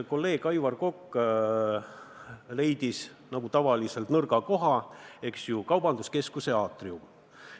Kolleeg Aivar Kokk leidis, nagu tavaliselt, nõrga koha – kaubanduskeskuse aatriumi.